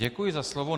Děkuji za slovo.